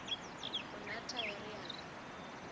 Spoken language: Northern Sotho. o na taere ya ka